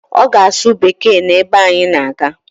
Ọ ga-asụ Bekee n'ebe anyị na-aga